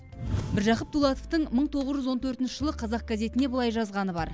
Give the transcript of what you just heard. міржақып дулатовтың мың тоғыз жүз он төртінші жылы қазақ газетіне былай жазғаны бар